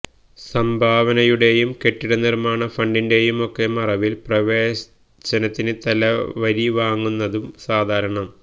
സംഭാവനയുടെയും കെട്ടിടനിർമാണ ഫണ്ടിന്റെയുമൊക്കെ മറവിൽ പ്രവേശനത്തിന് തലവരി വാങ്ങുന്നതും സാധാരണം